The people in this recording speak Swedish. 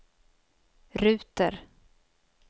ruter